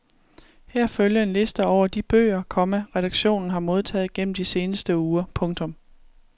Her følger en liste over de bøger, komma redaktionen har modtaget gennem de seneste uger. punktum